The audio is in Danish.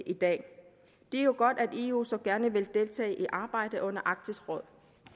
i dag det er jo godt at eu så gerne vil deltage i arbejdet under arktisk råd